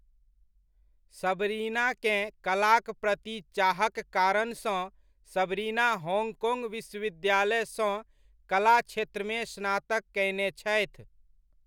सबरिनाकेँ कलाकप्रति चाहक कारणसँ सबरिना होङ्गकोङ्ग विश्वविद्यालयसँ कला क्षेत्रमे स्नातक कयने छथि।